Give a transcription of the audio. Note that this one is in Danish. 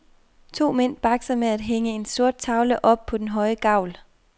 To mænd bakser med at hænge en sort tavle op på en høj gavl.